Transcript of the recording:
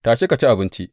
Tashi ka ci abinci!